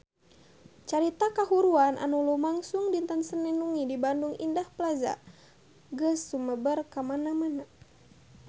Carita kahuruan anu lumangsung dinten Senen wengi di Bandung Indah Plaza geus sumebar kamana-mana